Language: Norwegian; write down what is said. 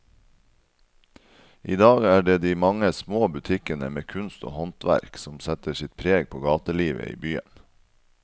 I dag er det de mange små butikkene med kunst og håndverk som setter sitt preg på gatelivet i byen.